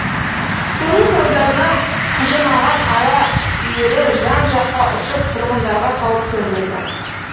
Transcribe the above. соның салдарынан құжынаған ара үйірі жан жаққа ұшып тұрғындарға қауіп төндірді